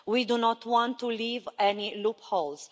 We do not want to leave any loopholes.